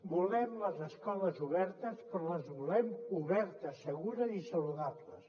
volem les escoles obertes però les volem obertes segures i saludables